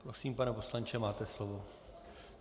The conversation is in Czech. Prosím, pane poslanče, máte slovo.